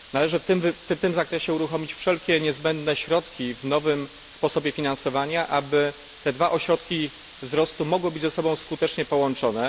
Należy w tym zakresie uruchomić wszelkie możliwe środki w nowym sposobie finansowania, aby te dwa ośrodki wzrostu mogły być ze sobą skutecznie połączone.